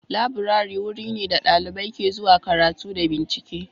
Laburare wuri ne da ɗalibai ke zuwa karatu da bincike